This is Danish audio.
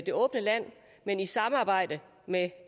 det åbne land men i samarbejde med